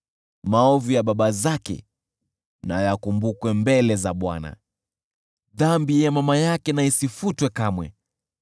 Maovu ya baba zake na yakumbukwe mbele za Bwana , dhambi ya mama yake isifutwe kamwe.